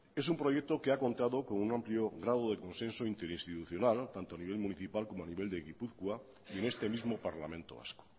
es un proyecto que ha contado con un amplio grado de consenso interinstitucional tanto a nivel municipal como a nivel de gipuzkoa y en este mismo parlamento vasco